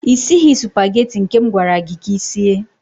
Ị sighị supageti nke m gwara gị ka i sie.